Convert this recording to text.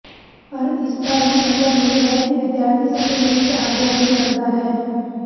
ਪਰ ਇਸ ਦਾ ਇਹ ਮਤਲਬ ਨਹੀ ਹੈ ਕਿ ਵਿਦਿਆਰਥੀ ਸਕੂਲ ਵਿੱਚ ਹਾਜ਼ਰ ਨਹੀ ਕਰਦਾ ਹੈ